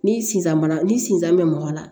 Ni sisan mana ni sisan bɛ mɔgɔ la